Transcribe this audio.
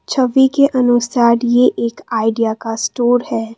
छवि के अनुसार ये एक आइडिया का स्टोर है।